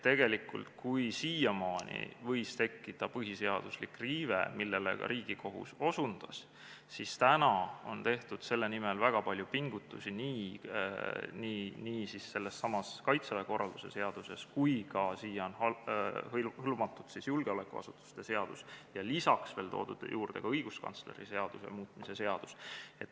Tegelikult, kui siiamaani võis tekkida põhiseaduslik riive, millele ka Riigikohus osutas, siis nüüd on tehtud selle nimel väga palju pingutusi, nii sellessamas Kaitseväe korralduse seaduses kui ka siia hõlmatud julgeolekuasutuste seaduses ja lisaks veel toodud õiguskantsleri seaduses.